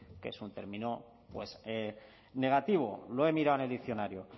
que es un término pues negativo lo he mirado en el diccionario